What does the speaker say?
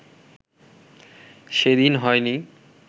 সেদিন হয় নি